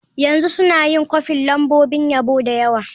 Yanzu suna yin kwafin lambobin yabo da yawa.